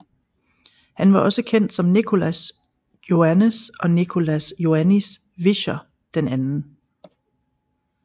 Han var også kendt som Nicolas Joannes og Nicolas Joannis Visscher II